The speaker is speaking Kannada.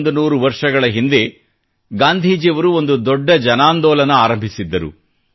100 ವರ್ಷಗಳ ಹಿಂದೆ ಗಾಂಧೀಜಿಯವರು ಒಂದು ದೊಡ್ಡ ಜನಾಂದೋಲನ ಆರಂಭಿಸಿದ್ದರು